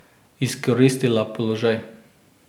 Izkoristila položaj.